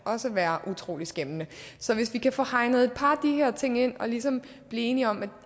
være utrolig skæmmende så hvis vi kan få hegnet et par af de her ting ind og ligesom blive enige om at